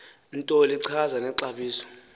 nto lichaze nexabiso